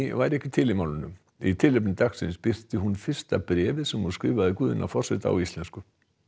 væri ekki til í málinu í tilefni dagsins birti hún fyrsta bréfið sem hún skrifaði Guðna á íslensku